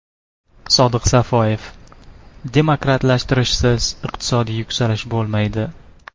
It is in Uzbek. Sodiq Safoyev: demokratlashtirishsiz iqtisodiy yuksalish bo‘lmaydi.